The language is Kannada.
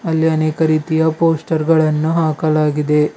ಅಲ್ಲಿ ಅನೇಕ ರೀತಿಯ ಪೋಸ್ಟರ್ ಗಳನ್ನು ಹಾಕಲಾಗಿದೆ.